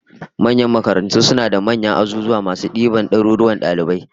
Manyan makarantu suna da manyan azuzuwa masu diban daruruwan dalibai